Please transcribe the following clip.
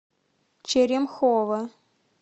черемхово